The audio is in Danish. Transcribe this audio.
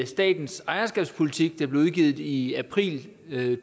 statens ejerskabspolitik der blev udgivet i i april